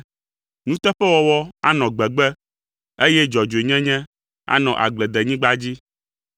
Nuteƒewɔwɔ anɔ gbegbe, eye dzɔdzɔenyenye anɔ agbledenyigba dzi.